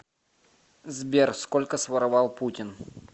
сбер сколько своровал путин